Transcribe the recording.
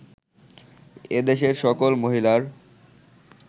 এদেশের সকল মহিলার